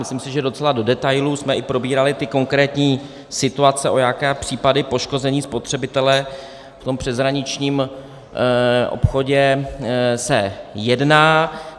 Myslím si, že docela do detailů jsme i probírali ty konkrétní situace, o jaké případy poškození spotřebitele v tom přeshraničním obchodu se jedná.